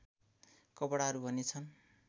कपडाहरू भने छन्